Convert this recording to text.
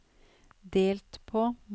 delt på